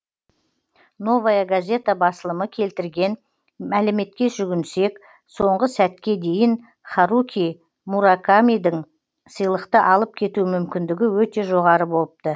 новая газета басылымы келтірген мәліметке жүгінсек соңғы сәтке дейін харуки муракамидің сыйлықты алып кету мүмкіндігі өте жоғары болыпты